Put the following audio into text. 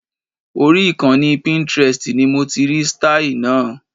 Orí ìkànnì Pintrest ni mo ti rí sítáì náà